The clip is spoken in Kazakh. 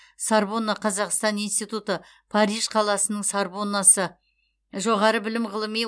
сорбонна қазақстан институты париж қаласының сорбоннасы жоғары білім ғылыми